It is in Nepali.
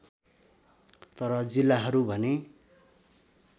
तर जिल्लाहरू भने